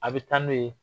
A bɛ taa n'o ye